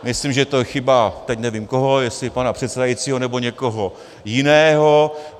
Myslím, že to je chyba - teď nevím koho, jestli pana předsedajícího, nebo někoho jiného.